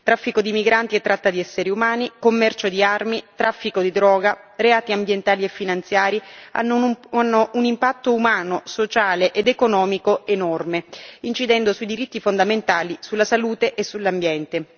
Traffico di migranti e tratta di esseri umani, commercio di armi, traffico di droga e reati ambientali e finanziari hanno o hanno un impatto umano, sociale ed economico enorme, incidendo sui diritti fondamentali, sulla salute e sull'ambiente.